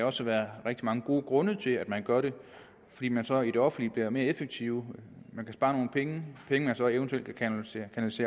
også være rigtig mange gode grunde til at man gør det fordi man så i det offentlige bliver mere effektive man kan spare nogle penge penge som man så eventuelt kan kanalisere